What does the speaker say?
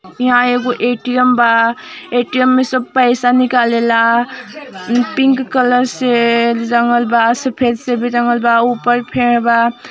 यहां एगो एटीएम बा। एटीएम में सभी पैसे निकाले ला।